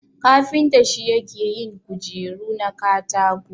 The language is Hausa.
Kafinta shi yake yin kujeru na katako.